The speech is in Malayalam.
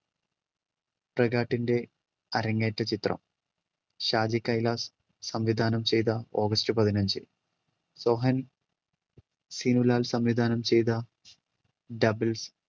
പ്രകാട്ടിന്റെ അരങ്ങേറ്റ ചിത്രം ഷാജി കൈലാസ് സംവിധാനം ചെയ്ത ഓഗസ്റ്റ് പതിനഞ്ച്. സോഹൻ സിനുലാൽ സംവിധാനം ചെയ്ത ഡബിൾസ്,